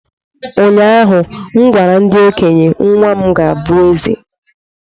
Ụnyahụ m gwara ndị okenye, nwa m ga-abụ eze!